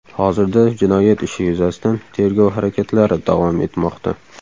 Hozirda jinoyat ishi yuzasidan tergov harakatlari davom etmoqda.